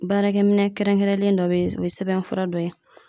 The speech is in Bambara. Baarakɛminɛn kɛrɛnkɛrɛnnen dɔ be yen o ye sɛbɛnfura dɔ ye